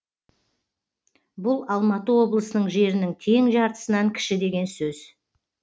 бұл алматы облысының жерінің тең жартысынан кіші деген сөз